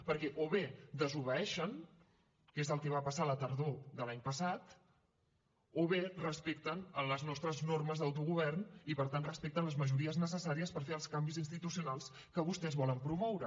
perquè o bé desobeeixen que és el que va passar la tardor de l’any passat o bé respecten les nostres normes d’autogovern i per tant respecten les majories necessàries per fer els canvis institucionals que vostès volen promoure